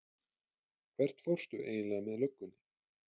Hvert fórstu eiginlega með löggunni?